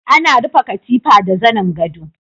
Ana rufe katifa da zanen godo.